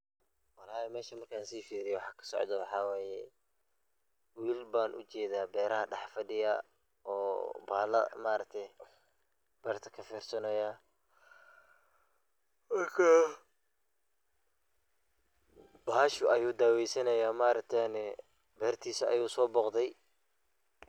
Wlhi meshan markan sifiriyey waxa kasocdo waxa waye, wilal ban ujeda berta dhex fadiya oo bahala maaragte berta kafirsanaya marka bahashu ayu daweysanaya maaragte bertisa ayu soboqdey.